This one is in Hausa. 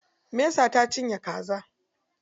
Mesa ta cinye kaza.